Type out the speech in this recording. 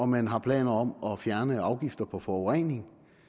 man har planer om at fjerne afgifter på forurening